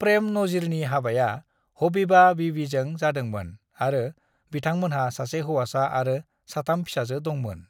प्रेम नजीरनि हाबाया हबीबा बीवीजों जादोंमोन आरो बिथांमोनहा सासे हौवासा आरो साथाम फिसाजो दं।